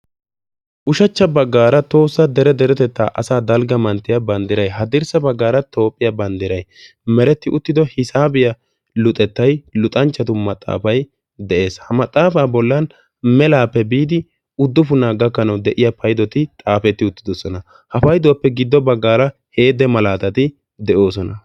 ushachcha baggaara toossa dere derotettaa asaa dalgga manttiyaa banddirai ha dirssa baggaara toophphiyaa banddirai meretti uttido hisaabiyaa luxettay luxanchchatu maxaafay de'ees ha maxaafaa bollan melaappe biidi uddufunaa gakkanawu de'iya paydoti xaafetti uttidosona ha payduwaappe giddo baggaara heede malaatati de'oosona